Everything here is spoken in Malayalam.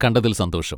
കണ്ടതിൽ സന്തോഷം.